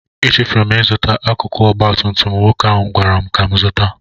Echefuru m ịzụta akụkụ ọgba tum tum nwoke ahụ gwara m ka m zụta